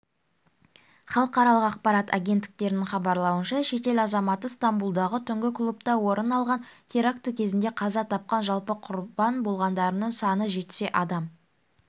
халықаралық ақпарат агенттіктерінің хабарлауынша шетел азаматы стамбулдағы түнгі клубта орын алған теракті кезінде қаза тапқан жалпы құрбан болғандардың саны жетсе адам